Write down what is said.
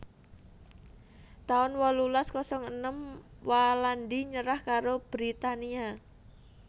taun wolulas kosong enem Walandi nyerah karo Britania